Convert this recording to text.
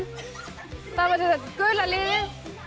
það var gula liðið